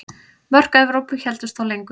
Mörk Evrópu héldust þó lengur.